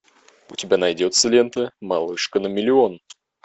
у тебя найдется лента малышка на миллион